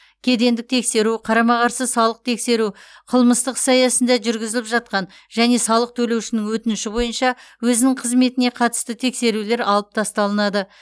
кедендік тексеру қарама қарсы салық тексеру қылмыстық іс аясында жүргізіліп жатқан және салық төлеушінің өтініші бойынша өзінің қызметіне қатысты тексерулер алып тасталынады